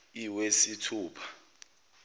iwesithupha